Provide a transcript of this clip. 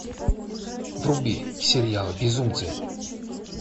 вруби сериал безумцы